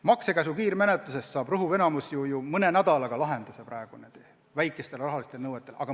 Maksekäsu kiirmenetluses saab rõhuv enamik asju mõne nädalaga lahenduse, kui tegu on väikeste rahanõuetega.